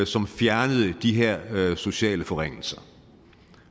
som fjernede de her sociale forringelser